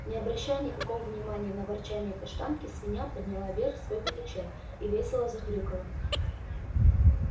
не обращая никакого внимания на ворчанье каштанки свинья подняла вверх свой пятачок и весело захрюкала